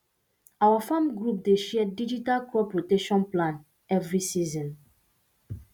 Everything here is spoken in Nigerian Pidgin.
our farm group dey share digital crop rotation plan every season